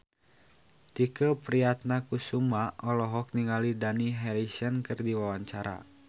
Tike Priatnakusuma olohok ningali Dani Harrison keur diwawancara